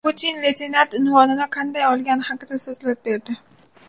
Putin leytenant unvonini qanday olgani haqida so‘zlab berdi.